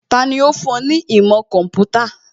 Tani ó fún ẹ ní ìmọ̀ kọ̀ḿpútà?